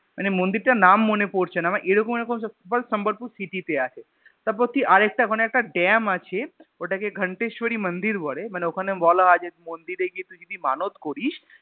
মানে মন্দির তার নাম মনে পড়ছেনা মানে এরকম এরকম Sambhalpur city তে আছে তারপর তুই আরেকটা ওখানে একটা Damn আছে ওটাকে ঘান্তেশ্বারী মন্দির বলে মানে ওখানে বলা হয় যে মন্দির এ গিয়ে যদি তুই মানদ করিস